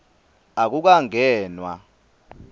akukangenwa